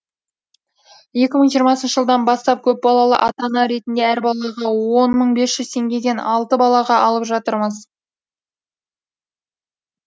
екі мың жиырмасыншыжылдан бастап көпбалалы ата ана ретінде әр балаға он мың бес жүз теңгеден алты балаға алып жатырмыз